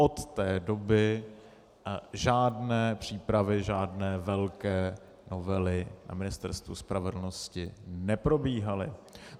Od té doby žádné přípravy žádné velké novely na Ministerstvu spravedlnosti neprobíhaly.